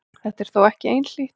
Þetta er þó ekki einhlítt.